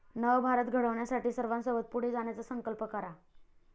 नव भारत घडविण्यासाठी सर्वांसोबत पुढे जाण्याचा संकल्प करा.